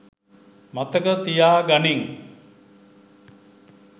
මතක තියා ගනිං.